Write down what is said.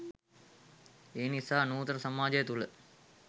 එනිසා නූතන සමාජය තුළ